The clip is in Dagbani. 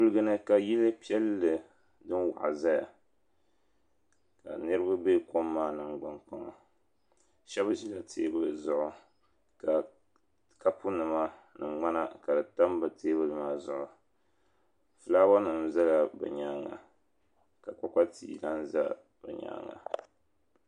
Kuliga ni ka yili piɛlli din waɣa zaya ka niriba bɛ kɔm maa nangban kpaŋa shɛba ʒila teebuli zuɣu ka kapu nima ni ŋmana ka di tam bi teebuli maa zuɣu filaawa nim zala bi nyaanga ka kpakpa tia lan za bi nyaanga.